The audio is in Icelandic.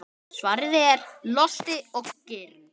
Svarið er: Losti og girnd.